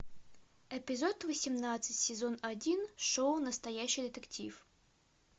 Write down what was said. эпизод восемнадцать сезон один шоу настоящий детектив